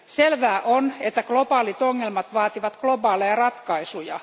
Selvää on, että globaalit ongelmat vaativat globaaleja ratkaisuja.